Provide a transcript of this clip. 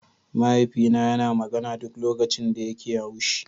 Mahaifina yana magana duk lokacin da yake haushi.